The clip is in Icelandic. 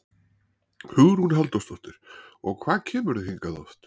Hugrún Halldórsdóttir: Og hvað kemurðu hingað oft?